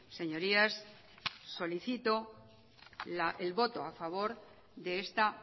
señorías solicito el voto a favor de esta